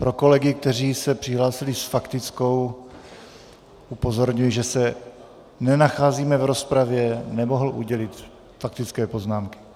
Pro kolegy, kteří se přihlásili s faktickou, upozorňuji, že se nenacházíme v rozpravě, nemohu udělit faktické poznámky.